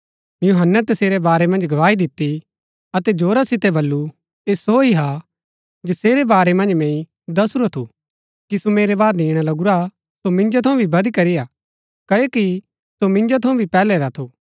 यूहन्‍नै तसेरै बारै मन्ज गवाही दिती अतै जोरा सितै बल्लू ऐह सो ही हा जसेरै बारै मन्ज मैंई दसुरा थू कि सो मेरै बाद ईणा लगुरा सो मिन्जो थऊँ भी बदीकरी हा क्ओकि सो मिन्जो थऊँ भी पैहलै रा थू